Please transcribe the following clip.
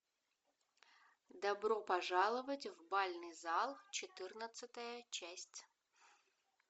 добро пожаловать в бальный зал четырнадцатая часть